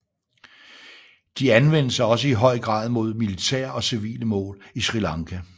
De anvendes også i høj grad mod militære og civile mål i Sri Lanka